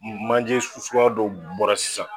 Manje suguya dɔw bɔra sisan